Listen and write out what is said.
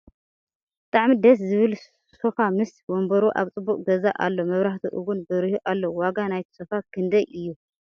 ብጣዕሚ ደስ ዝብል ሶፋ ምስ ወንበሩ ኣብ ፅቡቅ ገዛ ኣሎ መብራህቲ እውን በሪሁ ኣሎ ። ዋጋ ናይቲ ሶፎ ክንደይ እዩ ?